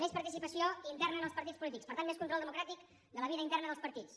més participació interna en els partits polítics per tant més control democràtic de la vida interna dels partits